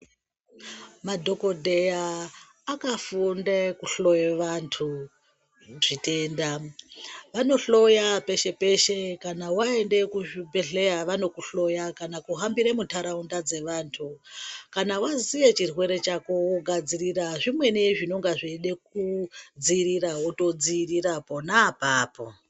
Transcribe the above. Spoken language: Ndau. Madhokodheya akafunde kuhloya vantu zvitenda, vanohloya peshe-peshe kana waenda kuzvibhedhleya vanokuhloya kana kuhambira mundaraunda dzevantu, kana waziye chirwere chako, wogadzirira zvimweni zvinonga zveyide kudziyirira wotodziyirira pona apapo.